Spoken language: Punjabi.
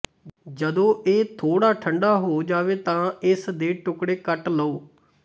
ਜਦੋਂ ਇਹ ਥੋੜ੍ਹਾ ਠੰਢਾ ਹੋ ਜਾਵੇ ਤਾਂ ਇਸ ਦੇ ਟੁਕੜੇ ਕੱਟ ਲਓ